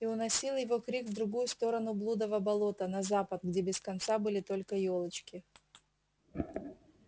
и уносил его крик в другую сторону блудова болота на запад где без конца были только ёлочки